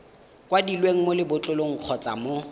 kwadilweng mo lebotlolong kgotsa mo